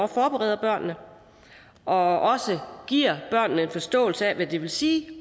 forbereder børnene og også giver børnene en forståelse af hvad det vil sige